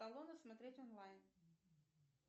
смотреть онлайн